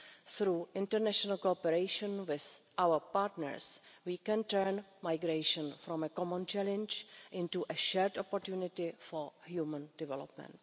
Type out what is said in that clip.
Through international cooperation with our partners, we can turn migration from a common challenge into a shared opportunity for human development.